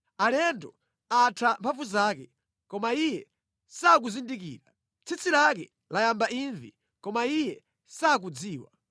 Alendo atha mphamvu zake, koma iye sakuzindikira. Tsitsi lake layamba imvi koma iye sakudziwa.